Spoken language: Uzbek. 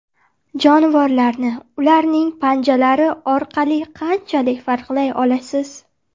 Jonivorlarni ularning panjalari orqali qanchalik farqlay olasiz?